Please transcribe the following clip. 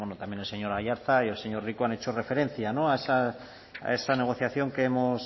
también el señor aiartza y el señor rico han hecho referencia a esa negociación